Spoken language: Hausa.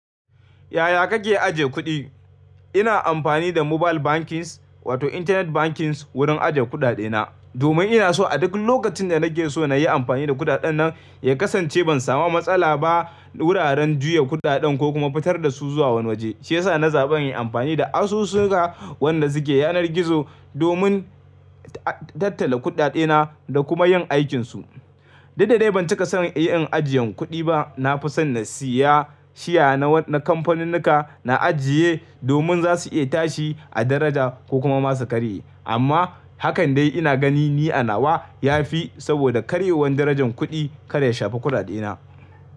Yaya kake ajiye kuɗi? Ina amfani da mobile banking wato internet banking wurin ajiye kuɗaɗe na, domin ina so a duk lokacin da nake so na yi amfani da kuɗaɗen nan ya kasance ban samu matsala ba wuraren juya kuɗaɗen ko kuma fitar da su zuwa wani waje. Shi yasa na zaɓi yin amfani da asusu wanda suke yanar gizo domin tattala kuɗaɗe na da kuma yin aikin su. Da dadai ban cika son yin ajiyan kuɗi ba. Na fi son na siya shiya na kamfanin nika na ajiye domin za su iya tashi a daraja ko kuma masu karye. Amma hakan dai ina gani ni a nawa ya fi saboda karyewar darajar kuɗi kada ya shafa kuɗaɗe na.